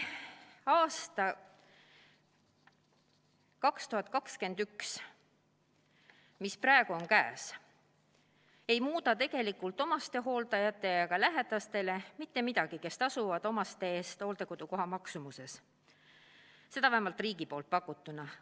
Aasta 2021, mis praegu käes, ei muuda tegelikult omastehooldajatele ja lähedastele, kes tasuvad omaste eest hooldekodukoha maksumuses, mitte midagi, vähemalt riigi pakutut arvestades.